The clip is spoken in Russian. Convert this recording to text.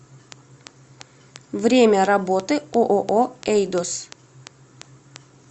время работы ооо эйдос